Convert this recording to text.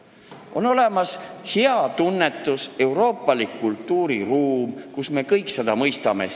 On olemas hea tunnetus, euroopalik kultuuriruum, mida me kõik mõistame.